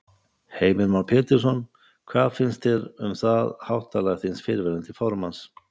Heimir Már Pétursson: Hvað finnst þér um það háttalag þíns fyrrverandi formanns?